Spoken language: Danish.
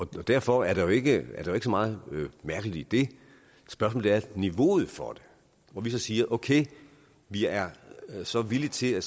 derfor er der jo ikke så meget mærkeligt i det spørgsmålet er niveauet for det hvor vi så siger at okay vi er så villige til at